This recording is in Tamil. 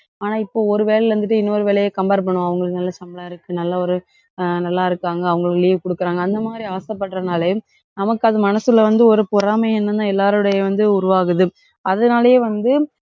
ஆனா, இப்ப ஒரு வேலையில இருந்துட்டு இன்னொரு வேலையை compare பண்ணுவோம். அவங்களுக்கு நல்ல சம்பளம் இருக்கு. நல்ல ஒரு அஹ் நல்லா இருக்காங்க. அவங்களுக்கு leave குடுக்கறாங்க. அந்த மாதிரி ஆசைப்படறதுலனாயே நமக்கு அது மனசுல வந்து ஒரு பொறாமை எண்ணம் தான் எல்லாருடைய வந்து உருவாகுது. அதனாலேயே வந்து,